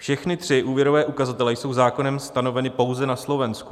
Všechny tři úvěrové ukazatele jsou zákonem stanoveny pouze na Slovensku.